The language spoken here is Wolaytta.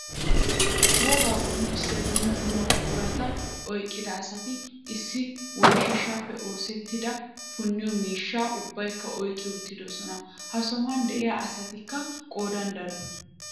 Wogaa qonccisiyaa dumma dumma buqurata oyqida asati issi woyshshaappe oosettida punniyoo miishshaa ubbaykka oyqqi uttidosona. he sohuwaan de'iyaa asatikka qoodan daro.